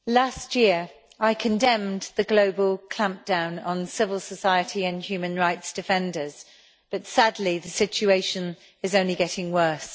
Madam President, last year, I condemned the global clampdown on civil society and human rights defenders, but sadly the situation is only getting worse.